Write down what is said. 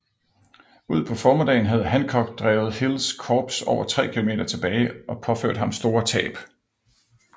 Ud på formiddagen havde Hancock drevet Hills korps over 3 km tilbage og pårført ham store tab